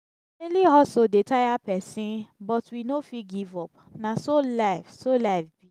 daily hustle dey tire pesin but we no fit give up. na so life so life be.